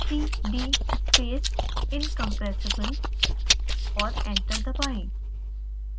cdspaceincompressible और enter दबाएं